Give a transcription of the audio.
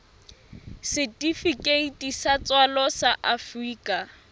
setifikeiti sa tswalo sa afrika